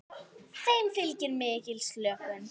Þeim fylgir mikil slökun.